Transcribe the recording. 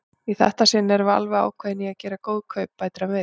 Í þetta sinn erum við alveg ákveðin í að gera góð kaup, bætir hann við.